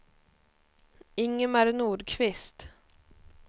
Ingemar Nordqvist